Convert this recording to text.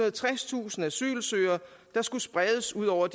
og tredstusind asylsøgere der skulle spredes ud over